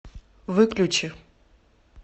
выключи